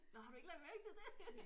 Nåh har du ikke lagt mærke til det?